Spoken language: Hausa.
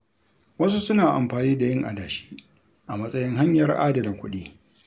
Wasu suna amfani da yin adashi a matsayin hanyar adana kuɗi.